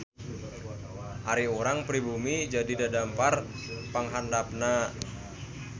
Ari urang pribumi jadi dadampar panghandapna.